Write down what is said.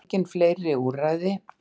Engin fleiri úrræði